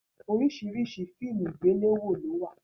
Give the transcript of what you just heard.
Oríṣiríṣi fíìmù àgbéléwò ló wà